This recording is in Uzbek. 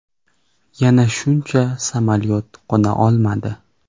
Yana shuncha samolyot qo‘na olmadi.